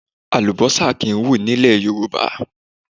Àlùbọ́sà kì í hù ní ilẹ̀ Yorùbá.